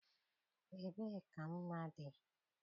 Ebee ka mma dị?